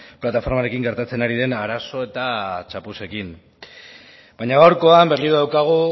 plataformarekin gertatzen ari den arazo eta txapuzekin baina gaurkoan berriro daukagu